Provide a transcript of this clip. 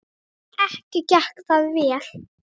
Ekki gekk það vel.